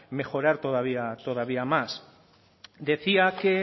mejorar todavía más decía que